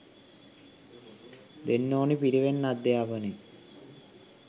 දෙන්න ඕනි පිරිවෙන් අධ්‍යාපනය